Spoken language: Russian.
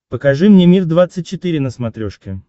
покажи мне мир двадцать четыре на смотрешке